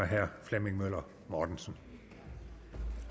herre flemming møller mortensen